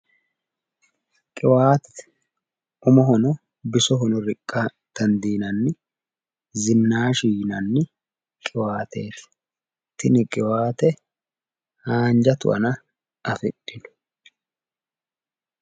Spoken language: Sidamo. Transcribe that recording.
Qiwaatete. Umohono bisohono bisihono. riqqa dandiinanni zinaashi yinanniqiwaateeti. Tini qiwaate haanja tu'ana afidhino.